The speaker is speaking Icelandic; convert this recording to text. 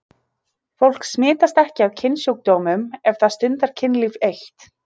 Fólk smitast ekki af kynsjúkdómum ef það stundar kynlíf eitt.